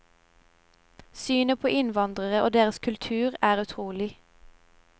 Synet på innvandrere og deres kultur er utrolig.